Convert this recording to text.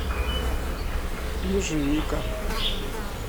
ежевика